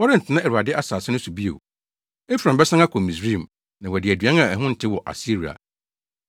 Wɔrentena Awurade asase no so bio; Efraim bɛsan akɔ Misraim na wadi aduan a ɛho ntew wɔ Asiria.